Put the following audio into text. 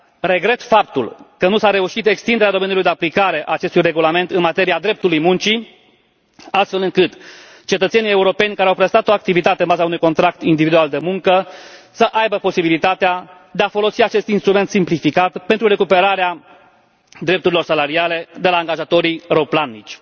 Regret faptul că nu s a reușit extinderea domeniului de aplicare a acestui regulament în materia dreptului muncii, astfel încât cetățenii europeni care au prestat o activitate în baza unui contract individual de muncă să aibă posibilitatea de a folosi acest instrument simplificat pentru recuperarea drepturilor salariale de la angajatorii rău platnici.